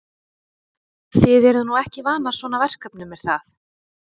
Þið eruð nú ekki vanar svona verkefnum er það?